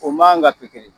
O man kan ka to kelen